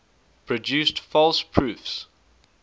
produced false proofs